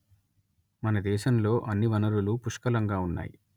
మన దేశంలో అన్ని వనరులూ పుష్కలంగా ఉన్నాయి